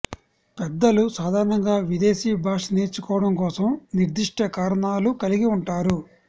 పెద్దలు సాధారణంగా విదేశీ భాష నేర్చుకోవడం కోసం నిర్దిష్ట కారణాలను కలిగి ఉంటారు